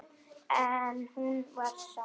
En hún var sátt.